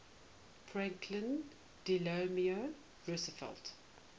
franklin delano roosevelt